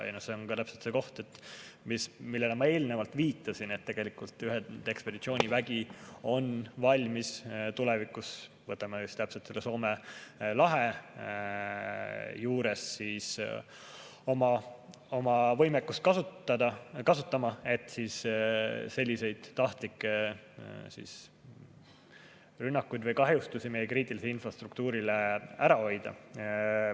See on täpselt see koht, millele ma eelnevalt viitasin, et tegelikult ühendekspeditsioonivägi on valmis tulevikus näiteks Soome lahes oma võimekust kasutama, et selliseid tahtlikke rünnakuid või kahjustusi meie kriitilisele infrastruktuurile ära hoida.